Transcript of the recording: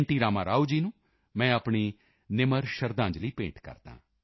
ਰਾਮਾਰਾਓ ਜੀ ਨੂੰ ਮੈਂ ਆਪਣੀ ਨਿਮਰ ਸ਼ਰਧਾਂਜਲੀ ਭੇਂਟ ਕਰਦਾ ਹਾਂ